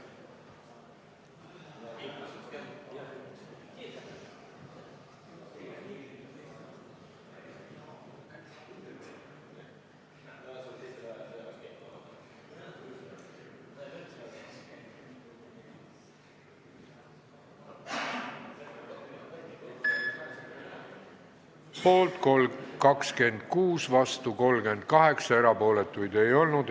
Hääletustulemused Poolt 26, vastu 38, erapooletuid ei olnud.